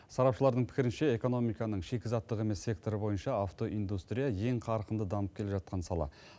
сарапшылардың пікірінше экономиканың шикізаттық емес секторы бойынша автоиндустрия ең қарқынды дамып келе жатқан сала